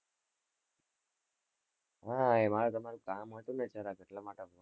હા, એમાં મારે તમારું કામ હતું ને જરાક એટલા માટે